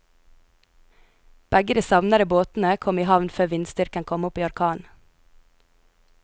Begge de savnede båtene kom i havn før vindstyrken kom opp i orkan.